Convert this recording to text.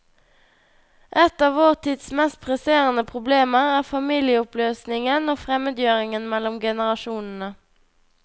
Ett av vårt tids mest presserende problemer er familieoppløsningen og fremmedgjøringen mellom generasjonene.